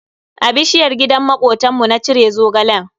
A bishiyar gidan makotanmu na cire Zogalen.